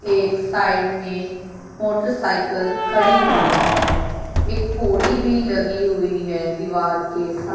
एक साइड में मोटरसाइकिल खड़ी हुई है एक पोड़ी भी लगी हुई है दीवार के सा--